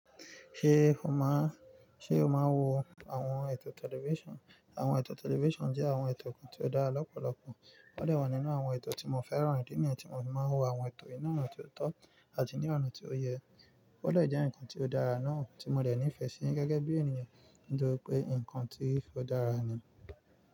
Ṣé o máa, ṣe o máa wo àwọn ètò tẹlifíṣàn? Àwọn ètò tẹlifíṣàn jẹ́ àwọn ètò kan tí ó dára lọ́pọ̀lọpọ̀. O de wa nínú àwọn ètò tí mo fẹ́ràn, idi niyii tí mo fi máa ń wo àwọn ètò yìí náà ní ọ̀nà ti o tọ́ àti ní ọ̀nà ti o yẹ. O de jẹ́ nǹkan tí ó dára náà tí mo de nífẹ́ sí i gẹ́gẹ́ bí ènìyàn, nítori pé nǹkan tí ó dára ni.